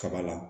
Kaba la